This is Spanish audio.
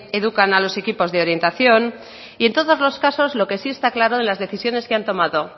educan a los equipos de orientación y en todos los casos lo que sí está claro de las decisiones que han tomado